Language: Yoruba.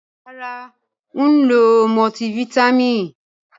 Rara, nko lo multiFítàmì.